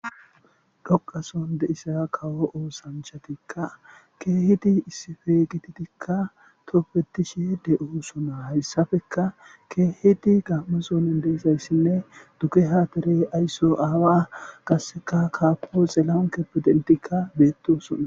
dhoqa sohon de7iza kawo oosanchatikka keehiti issife gititikka topfetishe de7o sonaa hayssafeka keehiti gammasonin deesayssinne duke haatire aysso aawa qasseka kaapo xeelan keppedentikka beettosona.